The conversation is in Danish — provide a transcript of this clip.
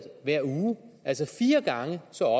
hver uge altså fire gange så